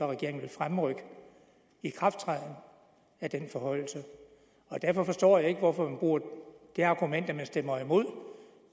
regeringen vil fremrykke ikrafttrædelsen af denne forhøjelse derfor forstår jeg ikke hvorfor man bruger det argument